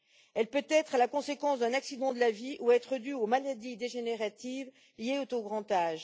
Elle peut être la conséquence d'un accident de la vie où être due aux maladies dégénératives liées au grand âge.